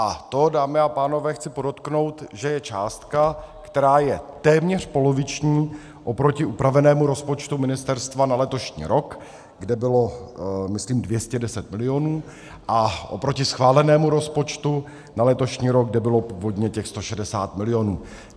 A to, dámy a pánové, chci podotknout, že je částka, která je téměř poloviční oproti upravenému rozpočtu ministerstva na letošní rok, kde bylo myslím 210 milionů, a oproti schválenému rozpočtu na letošní rok, kde bylo původně těch 160 milionů.